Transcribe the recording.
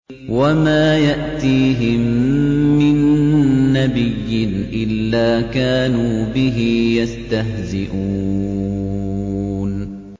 وَمَا يَأْتِيهِم مِّن نَّبِيٍّ إِلَّا كَانُوا بِهِ يَسْتَهْزِئُونَ